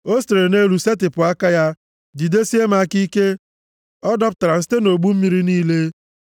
O sitere nʼelu setịpụ aka ya, jidesie m aka ike, ọ dọpụtara m site nʼogbu mmiri niile.